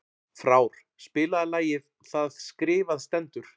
Frár, spilaðu lagið „Það skrifað stendur“.